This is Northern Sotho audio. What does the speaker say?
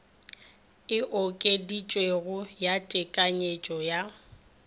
e okeditšwego ya tekanyetšo ya